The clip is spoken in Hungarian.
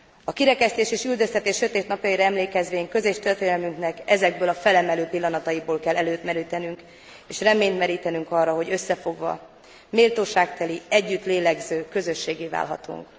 A kirekesztés és üldöztetés sötét napjaira emlékezvén közös történelmünknek ezekből a felemelő pillanataiból kell erőt merítenünk, és reményt merítenünk arra, hogy összefogva, méltóságteli, együtt lélegző közösséggé válhatunk.